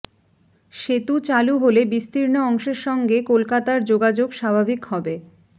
সেতু চালু হলে বিস্তীর্ণ অংশের সঙ্গে কলকাতার যোগাযোগ স্বাভাবিক হবে